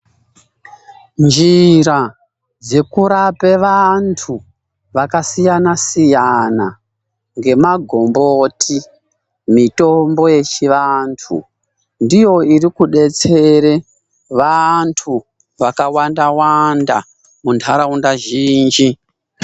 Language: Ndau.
Njira dzekurape vantu vakasiya siyana ngemagomboti , mitombo yechivantu ndiyo irikudetsera vantu vakawanda-wanda muntaraunda zhinji.